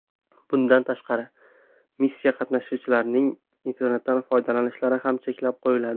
Bundan tashqari, missiya qatnashchilarining internetdan foydalanishlari ham cheklab qo‘yiladi.